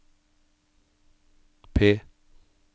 P